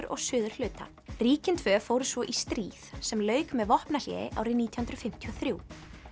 og suðurhluta ríkin tvö fóru svo í stríð sem lauk með vopnahléi árið nítján hundruð fimmtíu og þrjú